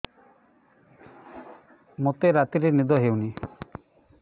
ମୋତେ ରାତିରେ ନିଦ ହେଉନି